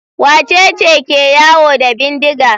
Wace ce ke yawo da bindiga?